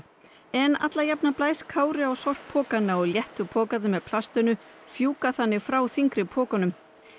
en alla jafna blæs Kári á sorppokana og léttu pokarnir með plastinu þannig frá þyngri pokum